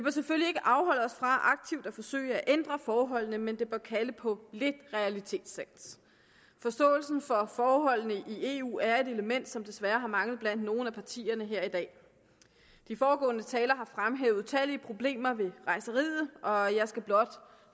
selvfølgelig ikke afholde os fra aktivt at forsøge at ændre forholdene men det bør kalde på lidt realitetssans forståelsen for forholdene i eu er et element som desværre har manglet blandt nogle af partierne her i dag de foregående talere har fremhævet utallige problemer ved rejseriet og jeg skal blot